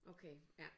Okay ja